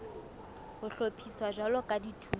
ho hlophiswa jwalo ka dithuto